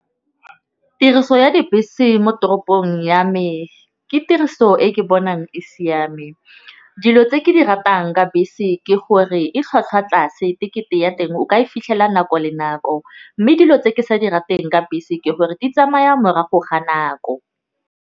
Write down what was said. Tiriso ya dibese mo toropong ya me. Ke tiriso e ke bonang e siame dilo tse ke di ratang ka bese ke gore e tlhwatlhwa tlase. Tekete ya teng o ka e fitlhela nako le nako, mme dilo tse ke sa di rateng ka bese ke gore di tsamaya morago ga nako.